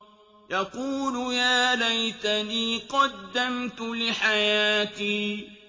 يَقُولُ يَا لَيْتَنِي قَدَّمْتُ لِحَيَاتِي